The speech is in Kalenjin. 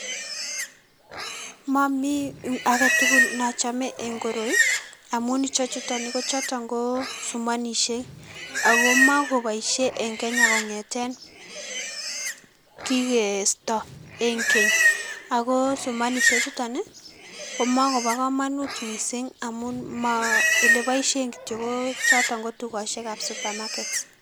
Momii aketukul nochome eng koroi amun ichechuton ih choton ko sumonisiek ako makoboisye eng Kenya kongeten kikesto eng keny ako sumonisiek chuton komokobokomunut missing amun oleboisyen kityok kotukosiekab supermarkets